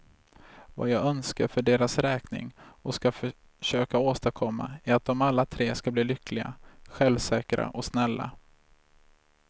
Vad jag önskar för deras räkning och ska försöka åstadkomma är att dom alla tre ska bli lyckliga, självsäkra och snälla.